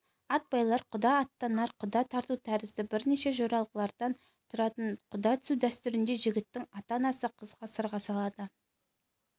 ат байлар құда аттанар құда тарту тәрізді бірнеше жоралғыдан тұратын құда түсу дәстүрінде жігіттің ата-анасы қызға сырға салады